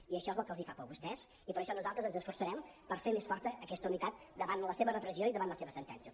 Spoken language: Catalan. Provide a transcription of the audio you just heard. i això és el que els fa por a vostès i per això nosaltres ens esforçarem per fer més forta aquesta unitat davant la seva repressió i davant les seves sentències